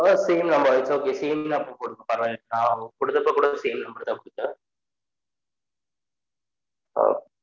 அ அம் same number its ok same numberr குடுங்க பரவால நான் குடுதபொ கூட same number